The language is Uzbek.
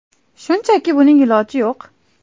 Shunchaki, buning iloji yo‘q.